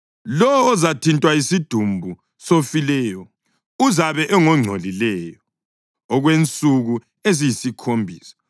Lowo ozathintwa yisidumbu sofileyo uzabe engongcolileyo okwensuku eziyisikhombisa.